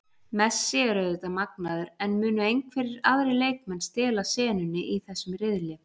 Messi er auðvitað magnaður, en munu einhverjir aðrir leikmenn stela senunni í þessum riðli?